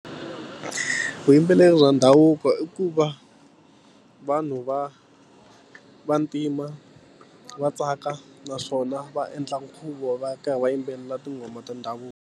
Vuyimbeleri bya ndhavuko i ku va vanhu va vantima va tsaka naswona va endla nkhuvo va karhi va yimbelela tinghoma ta ndhavuko.